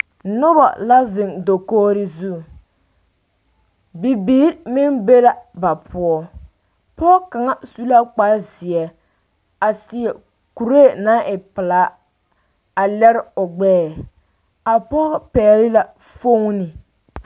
noba la zeŋ dakogri zu bibiir meŋ be la ba poɔ pɔge kaŋa su la kpar zeɛ a seɛ kuree naŋ e pelaa a lɛre o gbɛɛ a pɔge pɛgele la fooni